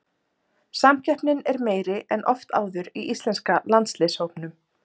Samkeppnin er meiri en oft áður í íslenska landsliðshópnum.